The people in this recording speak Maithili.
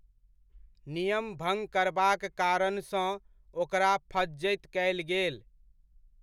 नियम भङ्ग करबाक कारणसँ ओकरा फज्झति कयल गेल।